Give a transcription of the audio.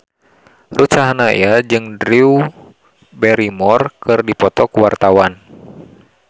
Ruth Sahanaya jeung Drew Barrymore keur dipoto ku wartawan